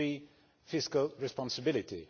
and number 3 fiscal responsibility.